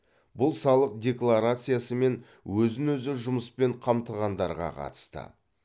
бұл салық декларациясы мен өзін өзі жұмыспен қамтығандарға қатысты